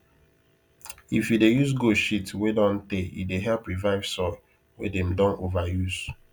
if you dey use goat shit wey don tey e dey help revive soil wey them don over use